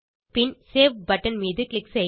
பின் save button மீது click செய்க